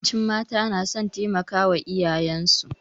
Yawancin mata na son taimakawa iyayensu.